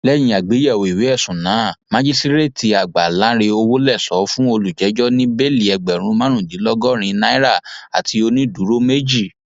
lẹyìn àgbéyẹwò ìwé ẹsùn náà májísrèètìàgbà lánrẹ òwòlẹsọ fún olùjẹjọ ní bẹẹlì ẹgbẹrún márùndínlọgọrin náírà àti onídùúró méjì